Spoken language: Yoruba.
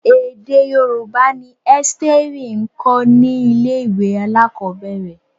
Èdè Yorùbá ni Ẹ́sítérì ń kọ́ ní ilé-ìwé alakobere.